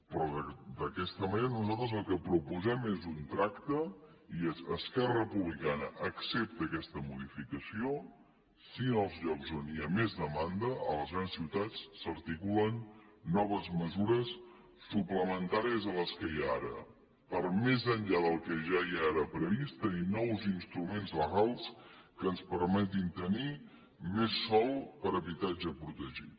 però d’aquesta manera nosaltres el que proposem és un tracte i és esquerra republicana accepta aquesta modificació si en els llocs on hi ha més demanda a les grans ciutats s’articulen noves mesures suplementàries a les que hi ha ara per més enllà del que ja hi ara previst tenir nous instruments legals que ens permetin tenir més sòl per habitatge protegit